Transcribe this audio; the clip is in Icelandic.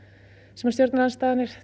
sem stjórnarandstaðan er